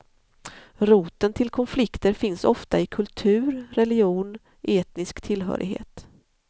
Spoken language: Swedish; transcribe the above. Roten till konflikter finns ofta i kultur, religion, etnisk tillhörighet.